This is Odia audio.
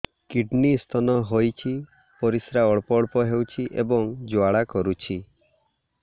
କିଡ଼ନୀ ସ୍ତୋନ ହୋଇଛି ପରିସ୍ରା ଅଳ୍ପ ଅଳ୍ପ ହେଉଛି ଏବଂ ଜ୍ୱାଳା କରୁଛି